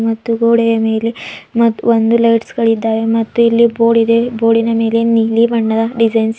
ಮತ್ತು ಗೋಡೆಯ ಮೇಲೆ ಮತ್ ಒಂದು ಲೈಟ್ಸ್ ಗಳಿದ್ದಾವೆ ಮತ್ತು ಇಲ್ಲಿ ಬೋರ್ಡ್ ಇದೆ ಬೋರ್ಡಿನ ಮೇಲೆ ನೀಲಿ ಬಣ್ಣದ ಡಿಸೈನ್ಸ್ --